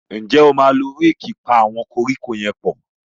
njé o ma ló Réèkì pá àwọn koríko yén pọ?